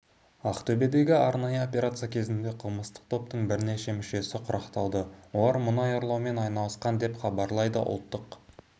ақтөбедегі арнайы операция кезінде қылмыстық топтың бірнеше мүшесі құрықталды олар мұнай ұрлаумен айналысқан деп іабарлайды ұлттық